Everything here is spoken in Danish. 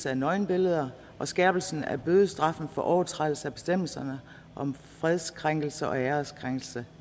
af nøgenbilleder og skærpelsen af bødestraffen for overtrædelse af bestemmelserne om fredskrænkelser og ærekrænkelser